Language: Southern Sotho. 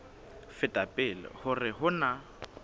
feta pele hore ho na